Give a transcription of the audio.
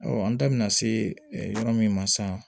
an da bɛna se yɔrɔ min ma sisan